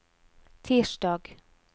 tirsdag